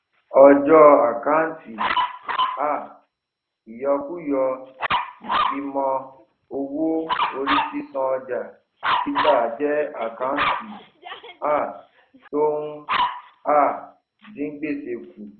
ọjọ àkántì um ìyọkúrò ìfimọ owó orí sísan ọjà títa jẹ àkántì um tó ń um dín gbèsè kù